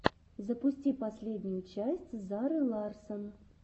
запусти последнюю часть зары ларссон